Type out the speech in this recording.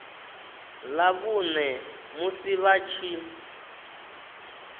ḽa vhuṋe musi vha tshi